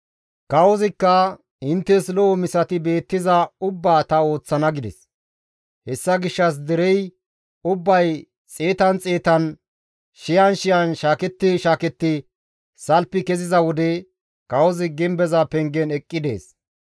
Kawozikka, «Inttes lo7o misati beettiza ubbaa ta ooththana» gides. Hessa gishshas derey ubbay xeetan xeetan, shiyan shiyan shaaketti shaaketti salfi keziza wode kawozi gimbeza pengen eqqi dees.